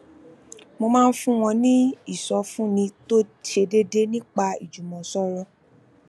mo máa ń fún wọn ní ìsọfúnni tó ṣe déédéé nípa ìjùmọsọrọ